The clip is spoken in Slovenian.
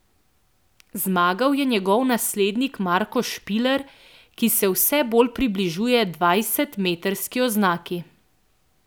Zmagal je njegov naslednik Marko Špiler, ki se vse bolj približuje dvajsetmetrski oznaki.